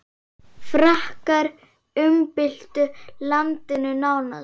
Frakkar umbyltu landinu nánast.